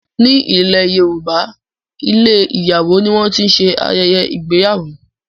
ní ilè yorùbá ilé ìyàwó ní wón tí ṣe ayẹyẹ ìgbéyàwó.